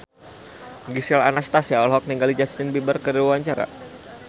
Gisel Anastasia olohok ningali Justin Beiber keur diwawancara